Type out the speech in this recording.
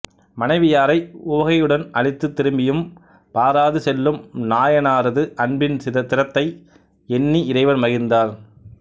மனைவியாரை உவகையுடன் அளித்து திரும்பியும் பாராது செல்லும் நாயனாரது அன்பின் திறத்தை எண்ணி இறைவன் மகிழ்ந்தார்